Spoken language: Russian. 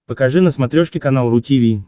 покажи на смотрешке канал ру ти ви